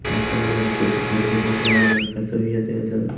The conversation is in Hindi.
बहुत सारे लड़के से खाली दिखाई दे रहा है और लड़का से भी --]